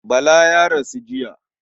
Bala ya rasu jiya.